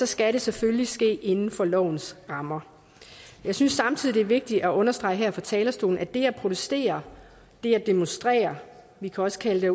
skal det selvfølgelig ske inden for lovens rammer jeg synes samtidig det er vigtigt at understrege her fra talerstolen at det at protestere det at demonstrere vi kan også kalde det